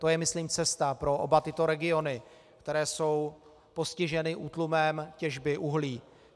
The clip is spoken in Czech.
To je myslím cesta pro oba tyto regiony, které jsou postiženy útlumem těžby uhlí.